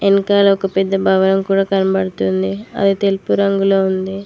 వెనకాల ఒక పెద్ద భవనం కూడా కనబడుతుంది అది తెలుపు రంగులో ఉంది.